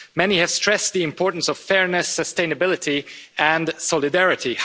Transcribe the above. Many have stressed the importance of fairness, sustainability and solidarity.